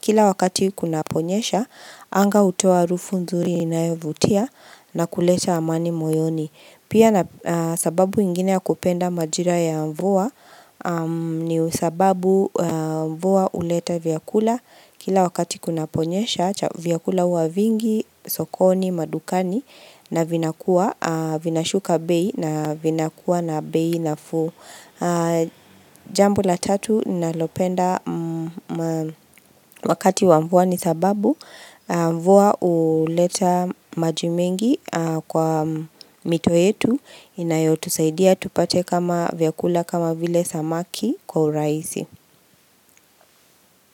kila wakati kuna ponyesha, anga utoa harufu nzuri inayovutia na kuleta amani moyoni. Pia na sababu ingine ya kupenda majira ya mvua ni sababu mvua uleta vyakula kila wakati kuna ponyesha vyakula huwa vingi, sokoni, madukani na vinakua, vinashuka bei na vinakuwa na bei nafuu. Jambo la tatu nalopenda wakati wa mvua ni sababu Mvua uleta maji mengi kwa mito yetu Inayotusaidia tupate kama vyakula kama vile samaki kwa uraizi.